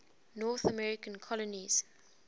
north american colonies